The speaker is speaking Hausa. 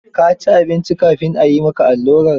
Ka ci abinci kafin a yi maka allurar?